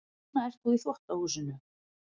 Núna ert þú í þvottahúsinu.